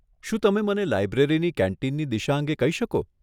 શું તમે મને લાઈબ્રેરીની કેન્ટીનની દિશા અંગે કહી શકો?